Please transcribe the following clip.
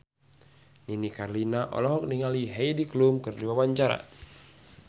Nini Carlina olohok ningali Heidi Klum keur diwawancara